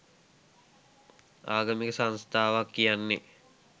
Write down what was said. ආගමික සංස්ථාවක් කියන්නෙ